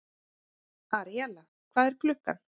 Aríella, hvað er klukkan?